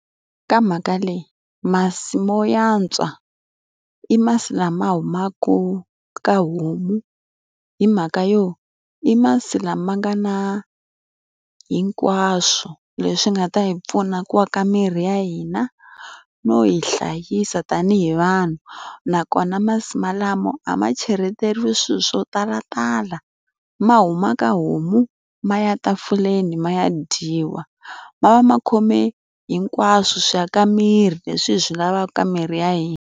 Ka mhaka leyi masi mo antswa, i masi lama humaka ka homu. Hi mhaka yo, i masi lama nga na hinkwaswo leswi nga ta hi pfuna ku aka miri ya hina no hi hlayisa tanihi vanhu. Nakona masi malamo a ma cheleteriwi swilo swo talatala, ma huma ka homu, ma ya tafuleni ma ya dyiwa. Ma va ma khome hinkwaswo swi ya ka miri leswi hi swi lavaka ka miri ya hina.